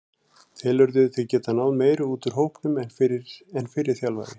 Telurðu þig geta náð meiru út úr hópnum en fyrri þjálfari?